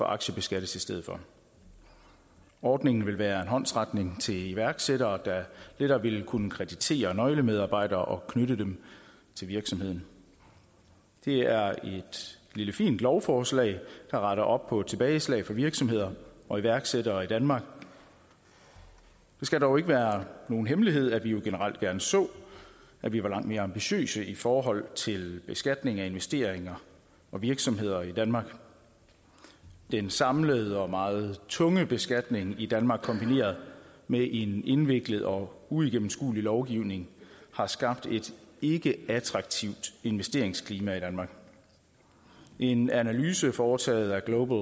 aktiebeskattes ordningen vil være en håndsrækning til iværksættere der netop vil kunne kreditere nøglemedarbejdere og knytte dem til virksomheden det er et lille fint lovforslag der retter op på tilbageslag for virksomheder og iværksættere i danmark det skal dog ikke være nogen hemmelighed at vi generelt gerne så at vi var langt mere ambitiøse i forhold til beskatning af investeringer og virksomheder i danmark den samlede og meget tunge beskatning i danmark kombineret med en indviklet og uigennemskuelig lovgivning har skabt et ikkeattraktivt investeringsklima i danmark en analyse foretaget af global